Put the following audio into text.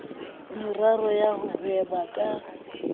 meraro ya ho hweba ka